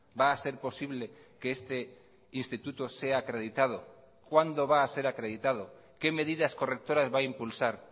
va a ser posible que este instituto sea acreditado cuándo va a ser acreditado qué medidas correctoras va a impulsar